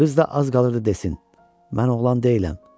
Qız da az qalırdı desin: Mən oğlan deyiləm.